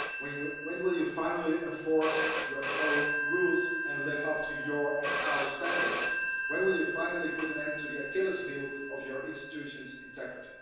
When will you finally enforce your own rules and live up to your and our standards? When will you finally put an end to the Achilles heel of your institution's integrity?